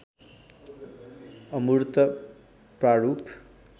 अमूर्त प्रारूप